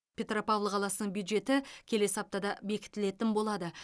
петропавл қаласының бюджеті келесі аптада бекітілетін болады